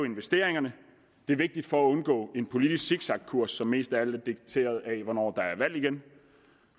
investeringerne det er vigtigt for at undgå en politisk zigzagkurs som mest af alt er dikteret af hvornår der er valg igen